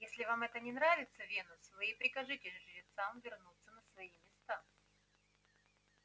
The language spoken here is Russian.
если вам это не нравится венус вы и прикажите жрецам вернуться на свои места